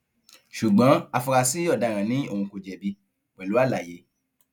ṣùgbọn afurasí ọdaràn ni òun kò jẹbi pẹlú àlàyé